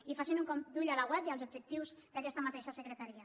i facin un cop d’ull a la web i als objectius d’aquesta mateixa secretaria